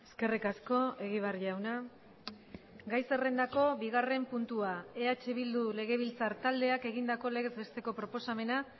eskerrik asko egibar jauna gai zerrendako bigarren puntua eh bildu legebiltzar taldeak egindako legez besteko proposamena